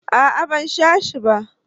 a'a ban sha shi ba.